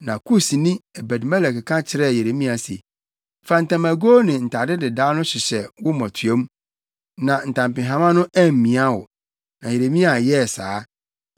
Na Kusni, Ebed-Melek ka kyerɛɛ Yeremia se, “Fa ntamagow ne ntade dedaw no hyehyɛ wo mmotuam, na ntampehama no ammia wo.” Na Yeremia yɛɛ saa,